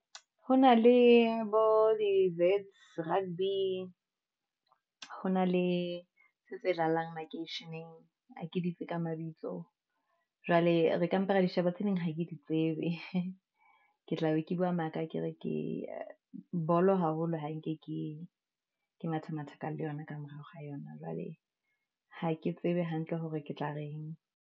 Ho na le bo di rugby, ho na le se tse dlalang makeisheneng, ha ke ditse ka mabitso, jwale re ka mpa ra di sheba, tse ding ha ke tsebe , ke tla be ke bua maka ha ke re ke bolo haholo ha nke ke matha mathaka le yona ka morao ha yona. Jwale ha ke tsebe hantle hore ke tla reng.